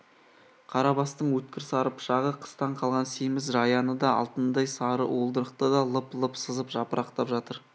қарабастың өткір сары пышағы қыстан қалған семіз жаяны да алтындай сары уылдырықты да лып-лып сызып жапырақтап жатыр